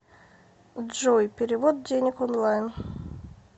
джой перевод денег онлайн